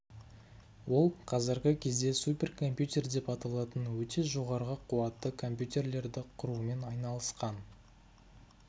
ол қазіргі кезде суперкомпьютер деп аталатын өте жоғарғы қуатты компьютерлерді құрумен айналысқан